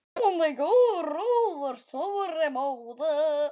Lifnar gróður suðri mót.